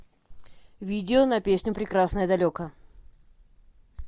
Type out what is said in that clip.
видео на песню прекрасное далеко